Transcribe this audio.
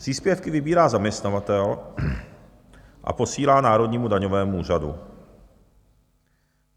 Příspěvky vybírá zaměstnavatel a posílá Národnímu daňovému úřadu.